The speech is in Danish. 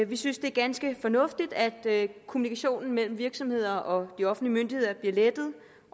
vi synes det er ganske fornuftigt at kommunikationen mellem virksomheder og de offentlige myndigheder bliver lettet